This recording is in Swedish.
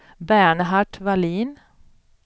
Bernhard Wallin